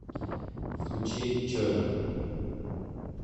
включи човен